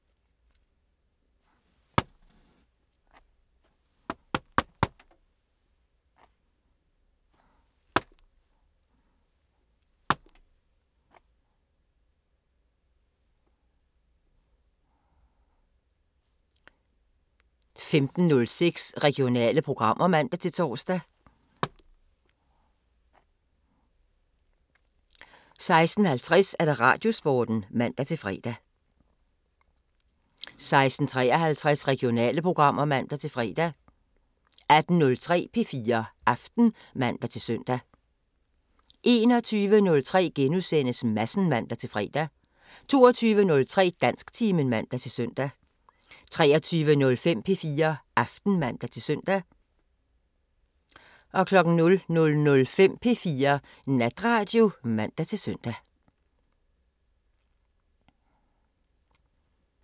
15:06: Regionale programmer (man-tor) 16:50: Radiosporten (man-fre) 16:53: Regionale programmer (man-fre) 18:03: P4 Aften (man-søn) 21:03: Madsen *(man-fre) 22:03: Dansktimen (man-søn) 23:05: P4 Aften (man-søn) 00:05: P4 Natradio (man-søn)